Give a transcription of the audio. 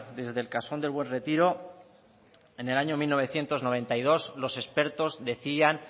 desde el casón del buen retiro en el año mil novecientos noventa y dos los expertos decían